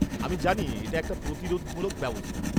আমি জানি এটা একটা প্রতিরোধমূলক ব্যবস্থা।